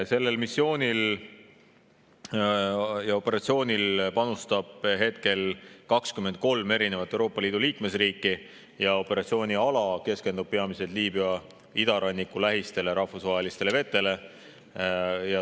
Sellel missioonil ja operatsioonil panustab praegu 23 Euroopa Liidu liikmesriiki ja operatsiooniala keskendub peamiselt Liibüa idaranniku lähistel asuvatele rahvusvahelistele vetele.